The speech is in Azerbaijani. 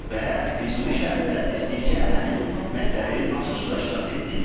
Və Füzuli şəhərində biz birgə həmin məktəbin açılışında iştirak etdik.